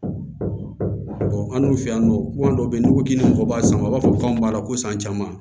an dun fɛ yan nɔ kuma dɔ bɛ ye n'u ko k'i bɛ mɔgɔ b'a san u b'a fɔ ko anw b'a la ko san caman